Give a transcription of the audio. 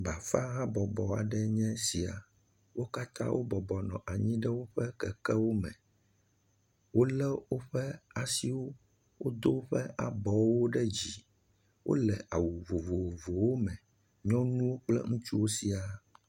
Bafa habɔbɔ aɖe nye esia, wo katã wo bɔbɔnɔ anyi ɖe woƒe kekewo me, wolé woƒe asiwo do woƒe abɔwo ɖe dzi, wole awu vovovowo me, nyɔnuwo kple ŋutsuwo siaa.